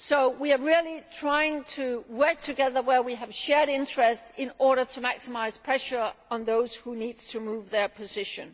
We are really trying to work together where we have shared interests in order to maximise pressure on those who need to move their position.